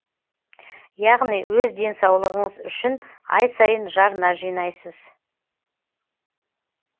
яғни өз денсаулығыңыз үшін ай сайын жарна жинайсыз